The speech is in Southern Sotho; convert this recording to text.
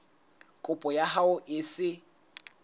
kopo ya hao e se